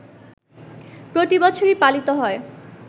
প্রতিবছরই পালিত হয়